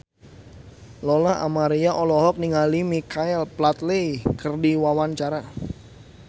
Lola Amaria olohok ningali Michael Flatley keur diwawancara